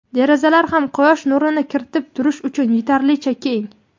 derazalar ham quyosh nurini kiritib turish uchun yetarlicha keng.